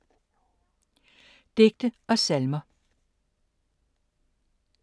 Digte og salmer